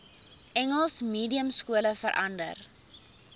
engels mediumskole verander